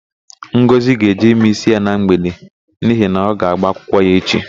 Ngọzị ga-eje ime ísí ya na mgbede n'ihi na ọ ga-ágbà akwụkwọ echi.